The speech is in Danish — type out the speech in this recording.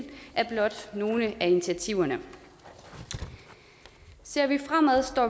er blot nogle af initiativerne ser vi fremad ser